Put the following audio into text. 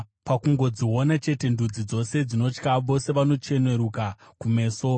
Pakungodziona chete, ndudzi dzose dzinotya; vose vanocheneruka kumeso.